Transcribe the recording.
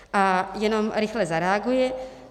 A jenom rychle zareaguji.